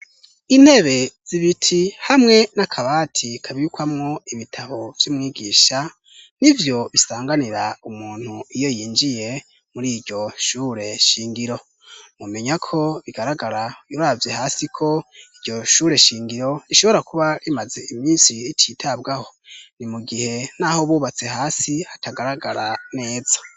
Intebe z'ibiti hamwe n'akabati kabikwamwo ibitabo vy'umwigisha nivyo bisanganira umuntu iyo yinjiye muri iryo shure shingiro. Mumenya ko bigaragara uravye hasi ko iryo shure shingiro rishobora kuba rimaze iminsi rititabwaho. Ni mu gihe n'aho bubatse hasi hatagaragara neza.